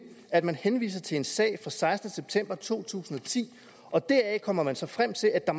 at henvise til en sag fra sekstende september to tusind og ti og deraf kommer man så frem til at der